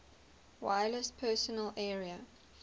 wireless personal area